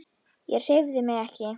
Ég hreyfði mig ekki.